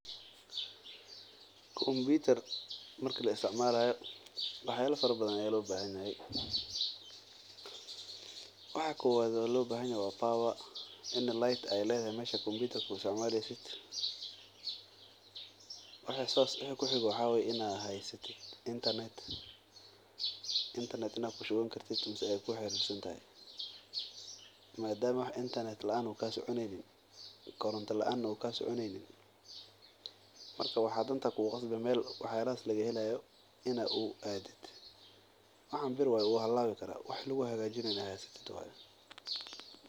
Kompitar marki la isticmalayo wax yaaba badan ayaa loo bahan yahay waxa uhoreyo waa koronta mida labaad waa in qad aad qabto waxaan bir waye wuu halaabi karaa wixi lagu hagajinaye aad haysatid.